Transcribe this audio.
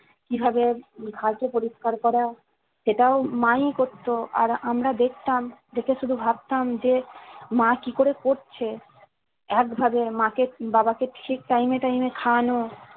কিভাবে ঘা কে পরিষ্কার করা সেটাও মা ই করতো আর আমরা দেখতাম দেখে শুধু ভাবতাম যে মা কি করে করছে একভাবে মাকে বাবা কে ঠিক time এ time এ খাওয়ানো